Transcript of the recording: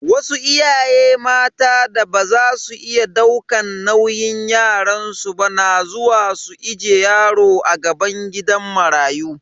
Wasu iyaye mata da baza su iya daukan nauyin yaransu ba na zuwa su ije yaro a gaban gidan marayu.